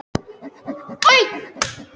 Þar naut ég mikillar gestrisni og vann vel.